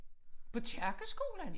På kirkeskolen?